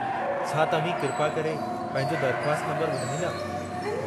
छा तव्हीं किरपा करे पंहिंजो दरख़्वास्त नंबरु ॿुधाईंदा?